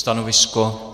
Stanovisko?